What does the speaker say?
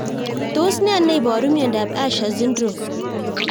Tos nee neiparu miondop Usher syndrome